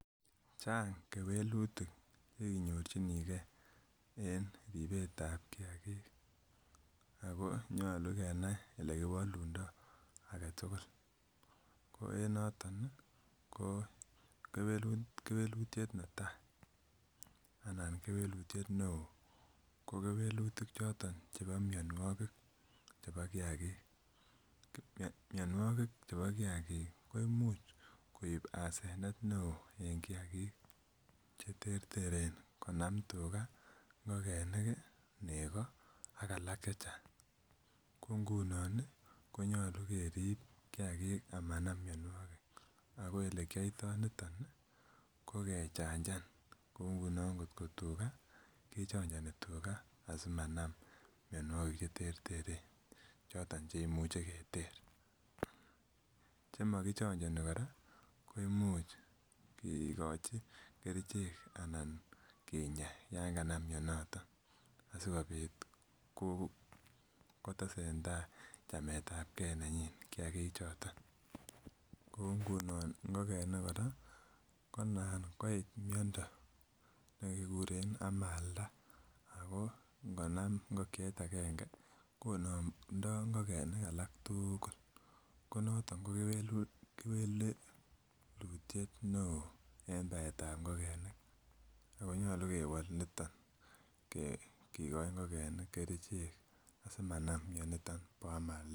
Chang kewelutik cheinyorchinigee en ribetab kiagik ako nyolu kenai elekiwolundo aketugul ako en noton ih ko kewelutiet netaa anan kewelutiet neoo ko kewelutik choton chebo mionwogik chebo kiagik, mionwogik chebo kiagik koimuch koib asenet neoo en kiagik cheterteren konam tuga, ngokenik, nego ak alak chechang. Ko ngunon ih konyolu kerib kiagik amanam mionwogik ako elekiyoitoo niton ih kokechanjan kou tuga kechonjoni tuga asimanam mionwogik cheterteren choton chekimuche keter. Chemokichonjoni kora koimuch kikochi kerichek anan kinya yan kanam mioniton kotesentaa chametab gee nenyin kiagik choton kou ngunon ngokenik kora ko nan koit miondo nekikuren amalda ako ngonam ngokiet agenge konomdoo ngokenik alak tugul ko noton ko kewelu kewelutiet neoo en baet ab ngokenik ako nyolu kewol niton ke kikoi ngokenik kerichek asimanam mioniton bo amalda